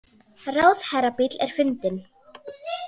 Ráðherrabíll er fundinn